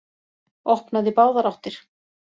Opnað í báðar áttir